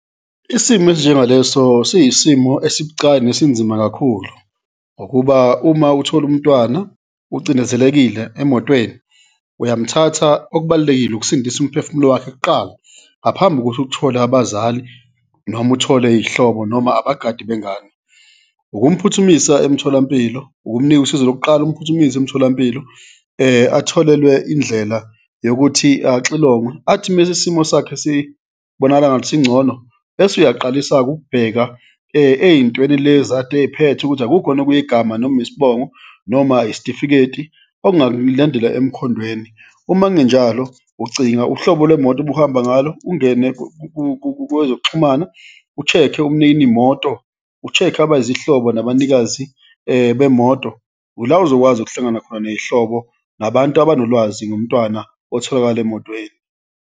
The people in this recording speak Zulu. Isimo esinjengaleso siyisimo esibucayi nesinzima kakhulu ngokuba uma uthole umntwana ucindezelekile emotweni uyamthatha, okubalulekile ukusindisa umphefumulo wakhe kuqala ngaphambi kokuthi ukuthole abazali noma uthole iy'hlobo noma abagadi bengani. Ukumphuthumisa emtholampilo, ukumnika usizo lokuqala, umphuthumise emtholampilo atholelwe indlela yokuthi axilongwe, athi mese isimo sakhe sibonakala ngathi singcono bese uyaqalisa-ke ukubheka ey'ntweni lezi kade eyiphethe ukuthi akukho yini okuyigama noma isibongo noma isitifiketi, okungakulandela emkhondweni. Uma kungenjalo, ucinga uhlobo lwemoto obuhamba ngalo, ungene kwezokuxhumana, u-check-e umnini moto, u-check-e abayizihlobo nabanikazi bemoto, ula ozokwazi ukuhlangana khona ney'hlobo nabantu abanolwazi ngomntwana otholakale emotweni.